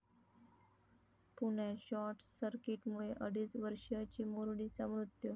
पुण्यात शॉर्टसर्कीटमुळे अडीच वर्षीय चिमुरडीचा मृत्यू